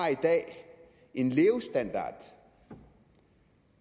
en levestandard